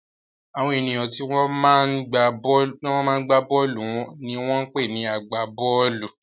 Àwọn ènìyàn tí wọ́n máa ń gbá bọ́ọ́lù ni wọ́n ń pè ní agbá-bọ́ọ́lù.